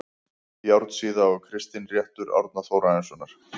Járnsíða og Kristinréttur Árna Þórarinssonar